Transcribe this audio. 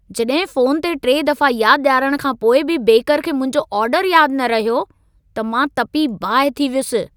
जड॒हिं फ़ोन ते टे दफ़ा यादु डि॒यारणु खां पोइ बि बेकर खे मुंहिंजो ऑर्डरु यादु न रहियो, त मां तपी बाहि थी वयुसि ।